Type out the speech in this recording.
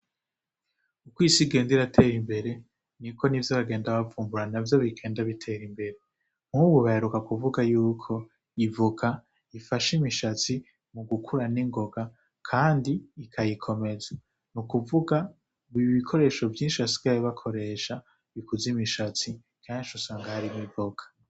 Ukoisi igenda iratera imbere ni ko n'ivyo abagenda bavumbura na vyo bigenda bitera imbere nkubu bayaruka kuvuga yuko ivuga ifashe imishatsi mu gukuran'ingoga, kandi ikayikomeza ni ukuvuga nu i ibikoresho vyinshi asgay bakoresha bikuza imishasi kanji sanga hari miboka.